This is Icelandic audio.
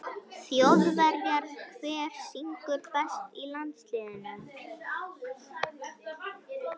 Þjóðverjar Hver syngur best í landsliðinu?